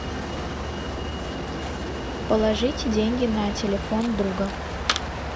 положите деньги на телефон друга